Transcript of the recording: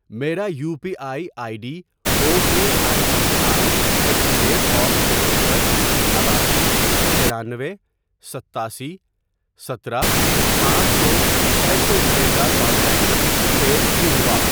میرا U P I I D O K I C I C I at the تہتر ، نواسی ، ترانوے ، ستاسی ، ستارہ ، پانچ ، کو چھ سو روپے کا ٹرانزیکشن فیل کیوں ہوا؟